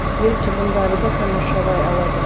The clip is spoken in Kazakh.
ел тұрғындары да тамашалай алады